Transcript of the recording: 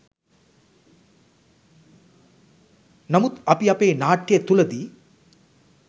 නමුත් අපි අපේ නාට්‍ය තුළ දී